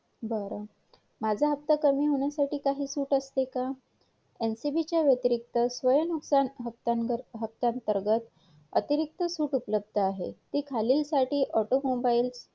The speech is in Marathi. तुझा व्यवसाय नोंदवायची देखिल गरज नाही परंतु